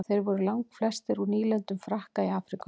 þeir voru langflestir úr nýlendum frakka í afríku